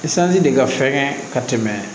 de ka fɛgɛn ka tɛmɛ